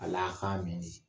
Ala k'a min